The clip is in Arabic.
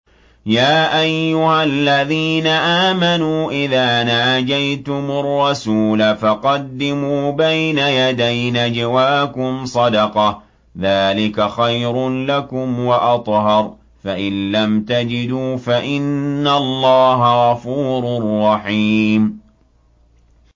يَا أَيُّهَا الَّذِينَ آمَنُوا إِذَا نَاجَيْتُمُ الرَّسُولَ فَقَدِّمُوا بَيْنَ يَدَيْ نَجْوَاكُمْ صَدَقَةً ۚ ذَٰلِكَ خَيْرٌ لَّكُمْ وَأَطْهَرُ ۚ فَإِن لَّمْ تَجِدُوا فَإِنَّ اللَّهَ غَفُورٌ رَّحِيمٌ